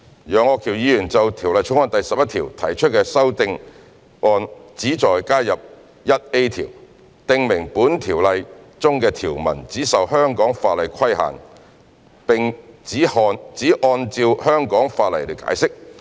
楊岳橋議員就《條例草案》第11條提出的修正案旨在加入款，訂明本條例中的條文只受香港法例規限並只按照香港法例解釋。